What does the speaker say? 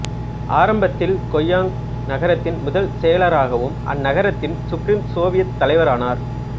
ஆரம்பத்தில்ல் கொக்யாங்கக் நகரத்தின் முதல் செயலராகவும் அந்நகரத்தின் சுப்ரீம் சோவியத் தலைவரானார்